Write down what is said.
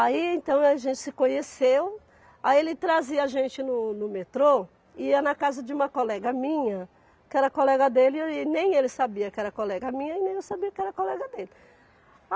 Aí então a gente se conheceu, aí ele trazia a gente no no metrô, e ia na casa de uma colega minha, que era colega dele e nem ele sabia que era colega minha e nem eu sabia que era colega dele.